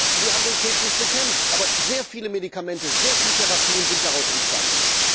Sie haben den Krebs nicht bekämpft, aber sehr viele Medikamente, sehr viele Therapien sind daraus entstanden.